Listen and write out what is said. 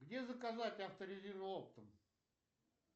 где заказать авторезину оптом